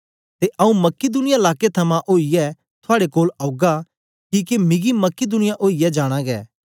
ते आऊँ मकिदुनिया लाके थमां ओईयै थुआड़े कोल औगा किके मिगी मकिदुनिया ओईयै जाना गै